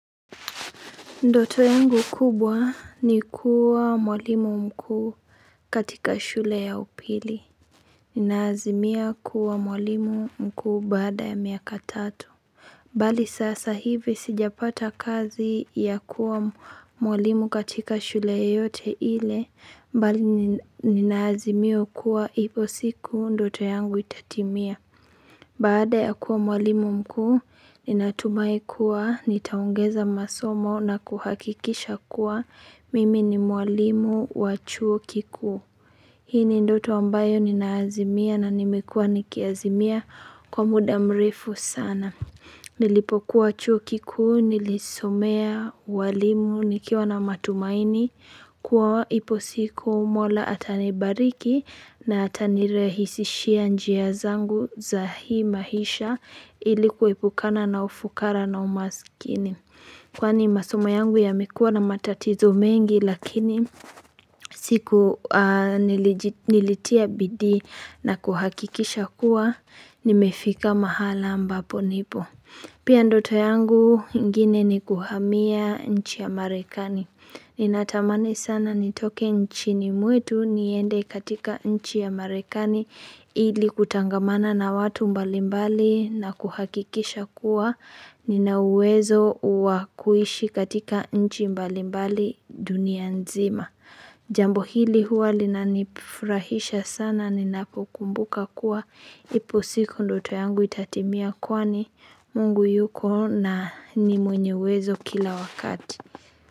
Ndoto yangu kubwa ni kuwa mwalimu mkuu katika shule ya upili. Nina azimia kuwa mwalimu mkuu baada ya miaka tatu. Bali sasa hivi sijapata kazi ya kuwa mwalimu katika shule yoyote ile, bali nina azimia kuwa ipo siku ndoto yangu itatimia. Baada ya kuwa mwalimu mkuu, ninatumai kuwa, nitaongeza masomo na kuhakikisha kuwa, mimi ni mwalimu wa chuo kikuu. Hii ni ndoto ambayo nina azimia na nimekua niki azimia kwa muda mrefu sana. Nilipo kuwa chuo kikuu nilisomea walimu nikiwa na matumaini kuwa ipo siku mola atanibariki na atanirahisishia njia zangu za hii mahisha ilikuepukana na ufukara na umasikini. Kwani masoma yangu yamekuwa na matatizo mengi lakini siku nilitia bidii na kuhakikisha kuwa nimefika mahala ambapo nipo. Pia ndoto yangu ingine ni kuhamia nchi ya marekani. Ninatamani sana nitoke nchini mwetu niende katika nchi ya marekani ili kutangamana na watu mbalimbali na kuhakikisha kuwa ninawezo uakuishi katika nchi mbalimbali dunia nzima. Jambo hili huwa lina nifurahisha sana ninapo kukumbuka kuwa ipo siku ndoto yangu itatimia kwani mungu yuko na n imwenye uwezo kila wakati.